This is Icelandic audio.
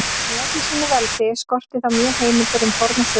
En í öllu sínu veldi skorti þá mjög heimildir um forna sögu sína.